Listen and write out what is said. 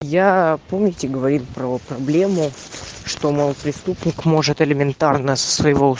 я помните говорит про проблему что мол преступник может элементарно со своего